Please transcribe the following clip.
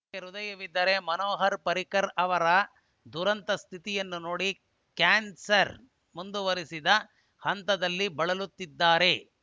ನಿಮಗೆ ಹೃದಯವಿದ್ದರೆ ಮನೋಹರ್‌ ಪರ್ರಿಕರ್‌ ಅವರ ದುರಂತ ಸ್ಥಿತಿಯನ್ನು ನೋಡಿ ಕ್ಯಾನ್ಸರ್‌ ಮುಂದುವರಿದ ಹಂತದಲ್ಲಿ ಬಳಲುತ್ತಿದ್ದಾರೆ